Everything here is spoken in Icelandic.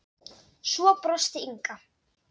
Svo brosti Inga.